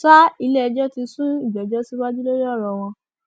sa iléẹjọ ti sún ìgbẹjọ síwájú lórí ọrọ wọn